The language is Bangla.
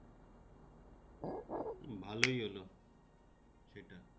ভালোই হলো সেটা